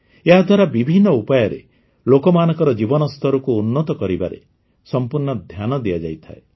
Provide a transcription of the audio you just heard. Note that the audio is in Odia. ଏହାଦ୍ୱାରା ବିଭିନ୍ନ ଉପାୟରେ ଲୋକମାନଙ୍କର ଜୀବନସ୍ତରକୁ ଉନ୍ନତ କରାଇବାରେ ସମ୍ପୂର୍ଣ୍ଣ ଧ୍ୟାନ ଦିଆଯାଇଥାଏ